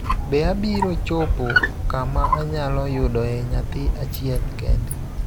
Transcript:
Be abiro chopo kama anyalo yudoe nyathi achiel kende?